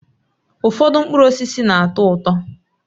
Ụfọdụ mkpụrụ osisi na-atọ ụtọ